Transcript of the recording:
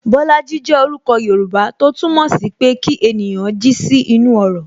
Bolaji jẹ orúkọ Yoruba, tó túmọ̀ sí pé kí ènìyàn jí sí inú ọrọ̀